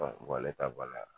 ta